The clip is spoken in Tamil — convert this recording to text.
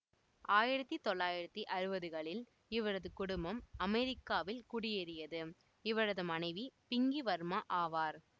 ஆயிரத்தி தொள்ளாயிரத்தி அறுபதுகளில் இவரது குடும்பம் அமெரிக்காவில் குடியேறியது இவரது மனைவி பிங்கி வர்மா ஆவார்